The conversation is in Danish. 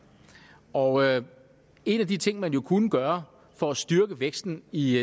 og en af de ting man jo kunne gøre for at styrke væksten i